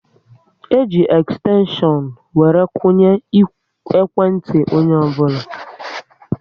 E ji ekstenshion were kwunye ikwe ntị onye ọbụla